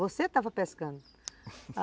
Você estava pescando.